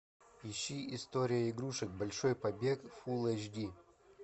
ищи история игрушек большой побег фул эйч ди